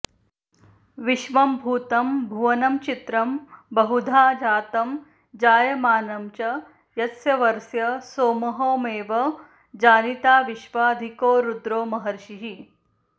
विश्वं भूतं भुवनं चित्रं बहुधा जातं जायमानं च यत्सर्वस्य सोमोऽहमेव जनिता विश्वाधिको रुद्रो महर्षिः